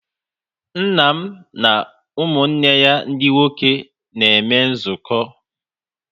Nna m na ụmụnne ya ndị nwoke na-eme nzukọ